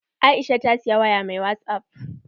Aisha ta siyi waya mai wasup